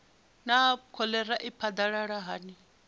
naa kholera i phadalala hani